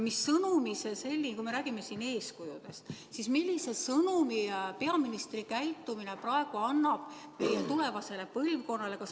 Kui me räägime siin eeskujudest, siis millise sõnumi peaministri käitumine praegu annab meie tulevasele põlvkonnale?